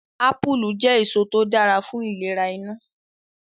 Apulu je eso to dara fun ilere inu